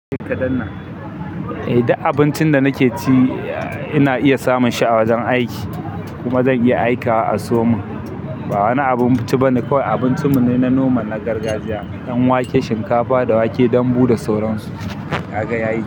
Eh, duk abincin da nake ci ina iya samun shi a wajen aiki kuma zan iya aika wa a sayomun. Ba wani abun ci bane kawai abincin mu ne na noma na gargajiya don wake, shinkafa da wake danbu da sauran su, kagaya yi.